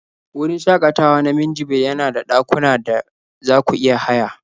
Wurin shakatawa na Minjibir yana da dakuna da za ku iya haya